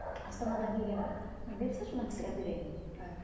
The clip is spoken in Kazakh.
астанадан келгенді бере салшы мына кісіге әперейін